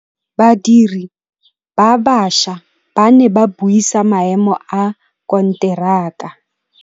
Badiri ba baša ba ne ba buisa maêmô a konteraka.